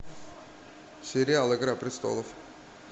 сериал игра престолов